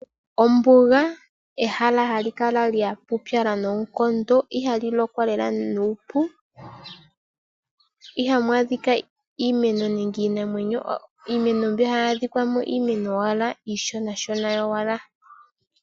Ombunga ehala hali kala lya pupyala nonkondo, ihali lokwa lela nuupu, ihamu adhika iimeno nenge Iinamwenyo, iimeno mbi hayi adhika mo iimeno owala ishona shona yowala.